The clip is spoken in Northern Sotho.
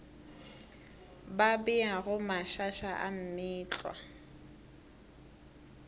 ba beago mašaša a meetlwa